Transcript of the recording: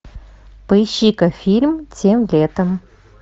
поищи ка фильм тем летом